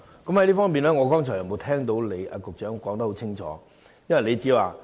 就此，我剛才並無聽到局長清楚說明。